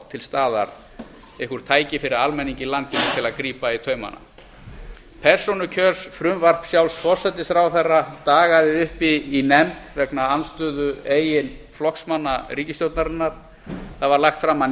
til staðar eitthvert tæki fyrir almenning í landinu til að grípa í taumana persónukjörsfrumvarp sjálfs forsætisráðherra dagaði uppi í nefnd vegna andstöðu eigin flokksmanna ríkisstjórnarinnar það var lagt fram að